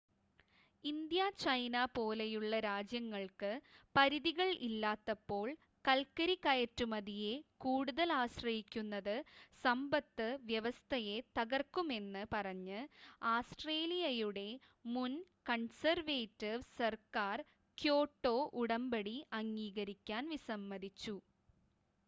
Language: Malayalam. ഇന്ത്യ ചൈന പോലെയുള്ള രാജ്യങ്ങൾക്ക് പരിധികൾ ഇല്ലാത്തപ്പോൾ കൽക്കരി കയറ്റുമതിയെ കൂടുതൽ ആശ്രയിക്കുന്നത് സമ്പത്ത് വ്യവസ്ഥയെ തകർക്കുമെന്ന് പറഞ്ഞ് ആസ്‌ട്രേലിയയുടെ മുൻ കൺസേർവേറ്റിവ് സർക്കർ ക്യോട്ടോ ഉടമ്പടി അംഗീകരിക്കാൻ വിസമ്മതിച്ചു